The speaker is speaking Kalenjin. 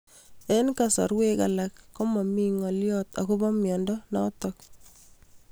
Eng'kasarwek alak ko mami ng'alyo akopo miondo notok